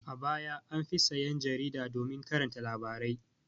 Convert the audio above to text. A baya an fi sayan jarida domin karanta labarai.